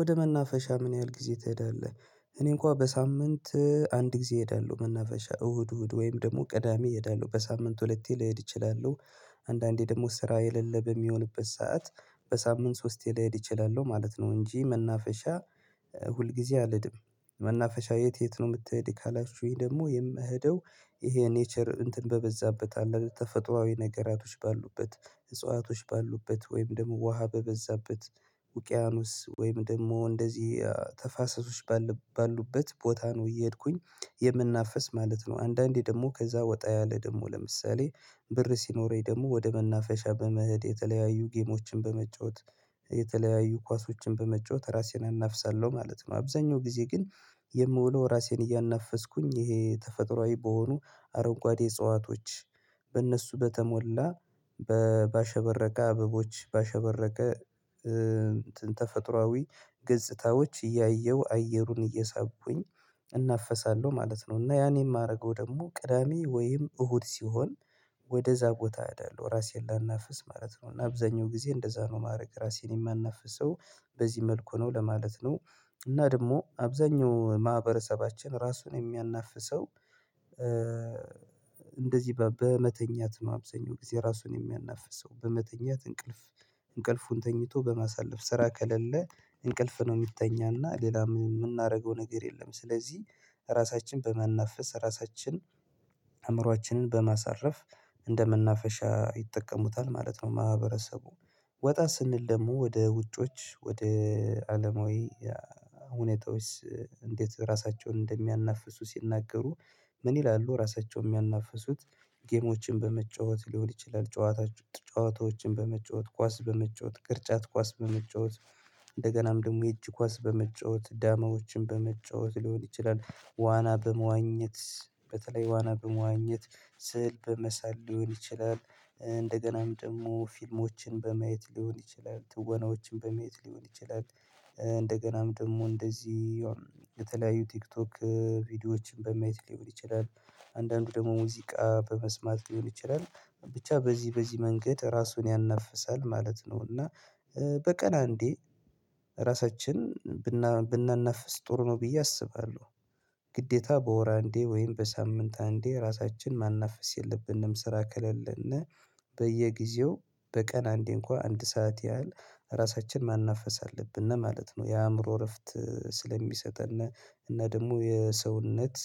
ወደ መናፈሻ ምን ያህል ጊዜ ትሄዳለህ? እኔ እንኳን በሳምንት አንድ ጊዜ እሄዳለሁ መናፈሻ እሁድ እሁድ ወይም ደግሞ ቅዳሜ እሄዳለሁ በሳምንት ሁለቴ ልሄድ እችላለሁ። አንዳንዴ ደግሞ ስራ የሌለብህ የሚሆንበት ሰዓት በሳምንት ሶስቴ ላይሄድ እችላለሁ ማለት ነው እንጂ መናፈሻ ሁልጊዜ አልድም። መናፈሻ የት የት ነው የምትሄድ ካላችሁኝ ደግሞ የምሄደው ይሄ ኔቸር እንትን በበዛበት አለ ተፈጥሮአዊ ነገራቶች ባሉበት እጽዋቶች ባሉበት ወይም ደግሞ ውሃ በበዛበት ውቅያኖስ ወይም ደግሞ እንደዚህ ተፋሰሶች ባሉበት ቦታ ነው እየሄድኩኝ የምናፍስ ማለት ነው። አንዳንዴ ደግሞ ከዛ ወጣ ያለ ደግሞ ለምሳሌ ብር ሲኖረኝ ደግሞ ወደ መናፈሻ በመሄድ የተለያዩ ጌሞችን በመጫወት የተለያዩ ኳሶችን በመጫወት ራሴን አናፍሳለሁ ማለት ነው። አብዛኛው ጊዜ ግን የምውለው ራሴን እያናፈስኩኝ ይሄ ተፈጥሮአዊ በሆኑ አረጓዴ እጽዋቶች በእነሱ በተሞላ በባሸበረቀ አበቦች ባሸበረቀ አንትን ተፈጥሮአዊ ገጽታዎች እያየሁ አየሩን እየሳቡኝ እናፈሳለሁ ማለት ነው። እና ያን የማደርገው ደግሞ ቅዳሜ ወይም እሁድ ሲሆን ወደዛ ቦታ እሄዳለሁ እራሴን ላናፍስ ማለት ነው እና አብዛኛው ጊዜ እንደዛ ነው ማድረግ ራሴን የማናፍሰው በዚህ መልኩ ነው ለማለት ነው። እና ደግሞ አብዛኛው ማህበረሰባችን ራሱን የሚያናፍሰው እንደዚህ በመተኛት አብዛኛው ጊዜ ራሱን የሚያናፍስ ሰው በመተኛት እንቅልፍ እንቅልፉን ተኝቶ በማሳለፍ ስራ ከሌለ እንቅልፍ ነው የሚተኛና ሌላም የምናደርገው ነገር የለም ስለዚህ ራሳችን በመናፈስ ራሳችን አእምሮአችንን በማሳረፍ እንደመናፈሻ ይጠቀሙታል ማለት ነው። ማህበረሰቡ ወጣ ስንል ደግሞ ወደ ውጮች ወደ አለማዊ ሁኔታዎች እንዴት ራሳቸውን እንደሚያናፍሱ ሲናገሩ ምን ይላሉ ራሳቸውን የሚያናፍሱት ጌሞችን በመጫወት ሊሆን ይችላል። ጨዋታዎችን በመጫወት ኳስ በመጫወት ቅርጫት ኳስ በመጫወት እንደገናም ደግሞ የእጅ ኳስ በመጫወት ዳማዎችን በመጫወት ሊሆን ይችላል ዋና በመዋኘት በተለይ ዋና በመዋኘት ስዕል በመሳል ሊሆን ይችላል። እንደገናም ደግሞ ፊልሞችን በማየት ሊሆን ይችላል ትወናዎችን በመየት ሊሆን ይችላል። እንደገናም ደግሞ እንደዚህ የተለያዩ ቲክቶክ ቪዲዮዎችን በማየት ሊሆን ይችላል። አንዳንዱ ደግሞ ሙዚቃ በመስማት ሊሆን ይችላል። ብቻ በዚህ በዚህ መንገድ ራሱን ያነፍሳል ማለት ነው። እና በቀን አንዴ ራሳችን ብናናፍስ ጥሩ ነው ብዬ አስባለሁ። ግዴታ በወር አንዴ ወይም በሳምንት አንዴ ራሳችን ማናፈስ የለብንም ስራ ከሌለን በየጊዜው በቀን አንዴ እንኳን አንድ ሰዓት ያህል ራሳችን መናፈስ አለብን ማለት ነው። የአእምሮ እረፍት ስለሚሰጥን እና ደግሞ የሰውነት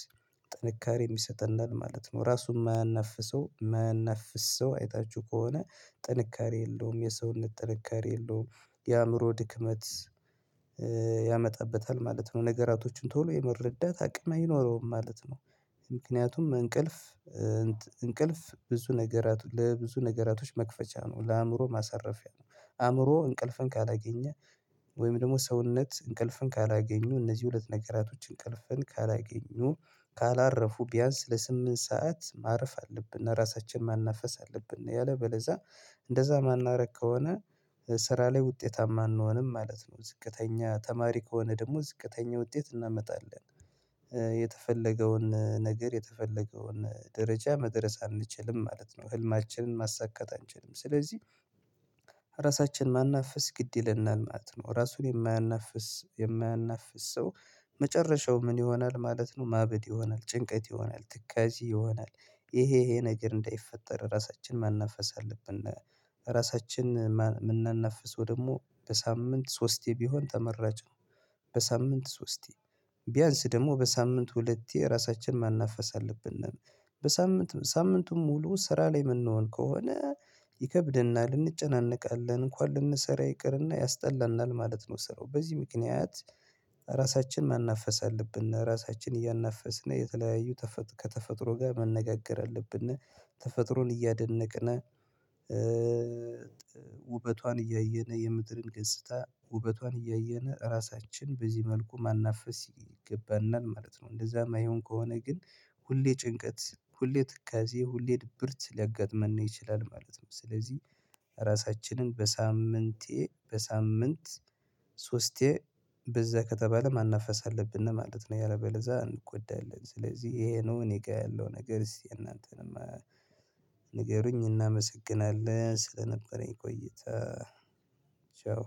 ጥንካሬ የሚሰጠንል ማለት ነው ራሱን የማያነፍሰው የማያነፍሰው አይታችሁ ከሆነ ጥንካሬ የለውም የሰውን ጥንካሬ የለውም የአእምሮ ድክመት ያመጣበታል ማለት ነው። ነገራቶችን ቶሎ የመረዳት አቅም አይኖረውም ማለት ነው። ምክንያቱም እንቅልፍ እንቅልፍ ብዙ ነገራት ለብዙ ነገራቶች መክፈቻ ነው ለአእምሮ ማሳረፊያ ነው። አእምሮ እንቅልፍን ካላገኘ ወይም ደግሞ ሰውነት እንቅልፍን ካላገኙ እነዚህ ሁለት ነገራቶች እንቅልፍን ካላገኙ ካላረፉ ቢያንስ ለስምንት ሰዓት ማረፍ አለብን ራሳችንን ማናፈስ አለብን ያለበለዛ እንደዛ ማናረግ ከሆነ ስራ ላይ ውጤታማ አንሆንም ማለት ነው። ዝቅተኛ ተማሪ ከሆነ ደግሞ ዝቅተኛ ውጤት እናመጣለን የተፈለገውን ነገር የተፈለገውን ደረጃ መድረስ አንችልም ማለት ነው። ህልማችንን ማሳካት አንችልም ስለዚህ ራሳችን ማናፍስ ግድ ይለናል ማለት ነው። ራሱን የማያናፍስ የማያናፍስ ሰው መጨረሻው ምን ይሆናል ማለት ነው? ማበድ ይሆናል ጭንቀት ይሆናል ትካዜ ይሆናል ይሄ ይሄ ነገር እንዳይፈጠር ራሳችን ማናፈስ አለብን። ራሳችን የምናናፍሰው ደግሞ በሳምንት ሶስቴ ቢሆን ተመራጭ ነው። በሳምንት ሶስቴ ቢያንስ ደግሞ በሳምንት ሁለቴ ራሳችን መናፈስ አለብን። በሳምንቱ ሳምንቱን ሙሉ ስራ ላይ የምንሆን ከሆነ ይከብደናል እንጨነቃለን እንኳን ልንሰራ ይቅርና ያስጠላናል ማለት ነው። ስራው በዚህ ምክንያት ራሳችን ማናፈስ አለብን ራሳችን እያናፈስን የተለያየ ከተፈጥሮ ጋር መነጋገር አለብን። ተፈጥሮን እያደነቅን ውበቷን እያየነ የምድርን ገጽታ ውበቷን እያየነ ራሳችን በዚህ መልኩ መናፈስ ይገባናል ማለት ነው። እንደዛ የማይሆን ከሆነ ግን ሁሌ ጭንቀት ሁሌ ትካዜ ሁሌ ድብርት ሊያጋጥመን ይችላል ማለት ነው። ስለዚህ ራሳችንን በሳምንቴ በሳምንት ሶስቴ በዛ ከተባለ ማናፈስ አለብን ማለት ነው። ያለበለዛ እንጎዳለን ስለዚህ ይሄ ነው እኔ ጋር ያለው ነገር የእናንተንም ንገሩኝ እናመሰግናለን። ስለነበረኝ ቆይታ። ቻው።